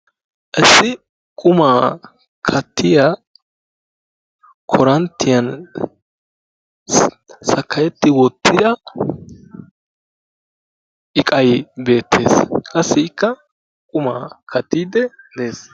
issi qumaa kaattiyaa koranttiyaan sakayetti wottida iiqay beettees. qassikka qumma kaattidee dees.